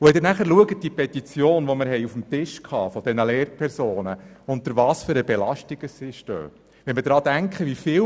Wenn wir die Petition anschauen, welche die Lehrpersonen eingereicht haben, sehen wir, unter welcher Belastung diese stehen.